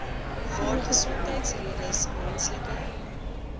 waar gesondheidsredes menslike